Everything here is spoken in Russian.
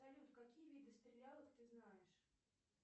салют какие виды стрелялок ты знаешь